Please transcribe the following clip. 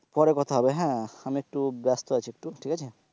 পরে কথা হবে হ্যাঁ আমি একটু ব্যস্ত আছি একটু ঠিক আছে,